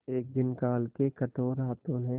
एक दिन काल के कठोर हाथों ने